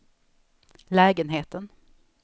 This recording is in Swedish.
lägenheten